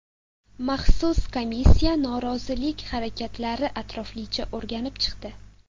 Maxsus komissiya norozilik holatlarini atroflicha o‘rganib chiqdi.